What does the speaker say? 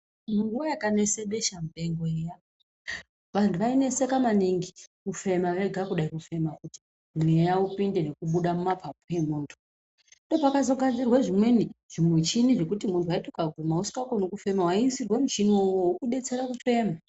Nguwa yakanesa besha mupengo iya vantu vaineseka maningi kufema vega kudai fema kuti mweya upinde nekubuda mumapapu memuntu. Ndoo pakazo gadzirwe zvimweni zvimuchini zvekuti waiti ukaguma usingakoni kufema waiisirwe muchini uwoo wekudetsera kufema.